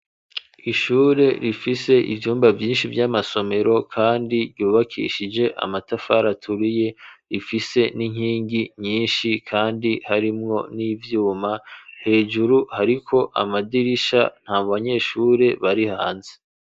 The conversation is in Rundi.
Ishure rifise ivyumba vyinshi vy'amasomero, kandi ryubakishije amatafari aturiye; ifise n'inkingi nyinshi, kandi harimwo n'ivyuma, hejuru hariko amadirisha, nta banyeshure bari hanze.